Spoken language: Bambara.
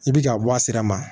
I bi ka bɔ a sira ma